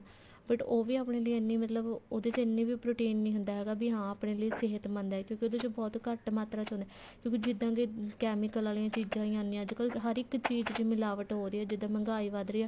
but ਉਹ ਵੀ ਆਪਣੇ ਲਈ ਇੰਨੀ ਮਤਲਬ ਉਹਦੇ ਚ ਇੰਨਾ ਵੀ protein ਨੀ ਹੁੰਦਾ ਹੈਗਾ ਵੀ ਹਾਂ ਆਪਣੇ ਲਈ ਸਹਿਤਮੰਦ ਹੈ ਉਹਦੇ ਚ ਬਹੁਤ ਘੱਟ ਮਾਤਰਾ ਚ ਹੁੰਦਾ ਕਿਉਂਕਿ ਜਿੱਦਾਂ ਦੇ chemical ਆਲੀਆਂ ਚੀਜ਼ਾਂ ਆਈਆਂ ਅੱਜਕਲ ਹਰ ਇੱਕ ਚੀਜ਼ ਚ ਮਿਲਾਵਟ ਹੋ ਰਹੀ ਹੈ ਜਿੱਦਾਂ ਮਹਿੰਗਾਈ ਵੱਧ ਰਹੀ ਹੈ